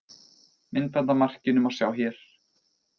Myndband af markinu má sjá hér